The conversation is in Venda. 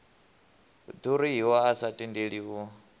ḓuriho a sa tendeli u